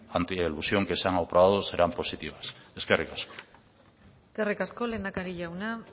anti elusión que se han aprobado serán positivas eskerrik asko eskerrik asko lehendakari jauna